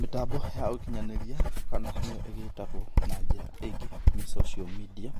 Mĩtambo ya ũkĩnyanĩria kana nĩyo ĩgĩtagwo na njĩra ĩngĩ nĩ social media